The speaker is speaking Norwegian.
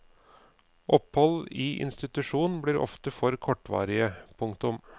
Opphold i institusjon blir ofte for kortvarige. punktum